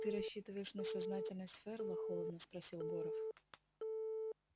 ты рассчитываешь на сознательность ферла холодно спросил горов